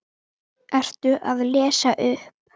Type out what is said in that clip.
Ertu að lesa upp?